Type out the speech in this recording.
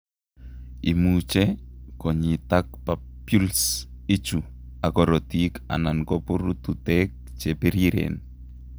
Imuche konyitak papules ichu ak korotik alan ko pururutek che piriren.